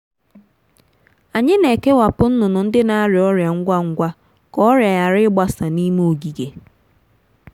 anyị na-ekewapụ nnụnụ ndị na-arịa ọrịa ngwa ngwa ka ọrịa ghara ịgbasa n’ime ogige.